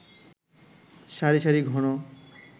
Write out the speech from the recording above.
সারি সারি ঘন